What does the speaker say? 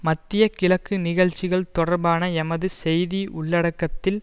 மத்திய கிழக்கு நிகழ்ச்சிகள் தொடர்பான எமது செய்தி உள்ளடக்கத்தில்